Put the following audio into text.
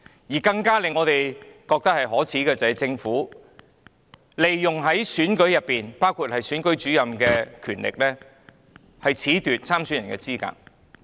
我們認為更可耻的是，政府利用選舉制度，包括選舉主任的權力，褫奪參選人的資格。